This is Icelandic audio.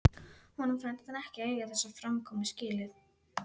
Honum fannst hann ekki eiga þessa framkomu skilið.